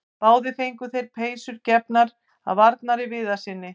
Báðir fengu þeir peysur gefnar af Arnari Viðarssyni.